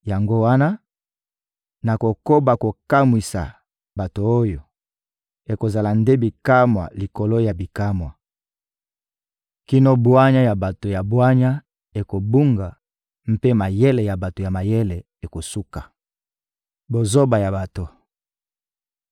Yango wana, nakokoba kokamwisa bato oyo; ekozala nde bikamwa likolo ya bikamwa kino bwanya ya bato ya bwanya ekobunga, mpe mayele ya bato ya mayele ekosuka.» Bozoba ya bato